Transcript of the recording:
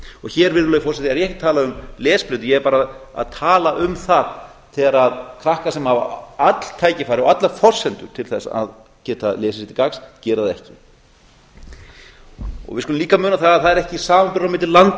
hér virðulegi forseti er ég ekki að tala um lesblindu ég er bara að tala um það þegar krakkar sem hafa öll tækifæri og allar forsendur til þess að geta lesið sér til gagns gera það ekki við skulum líka muna það að það er ekki samanburður á milli landa sem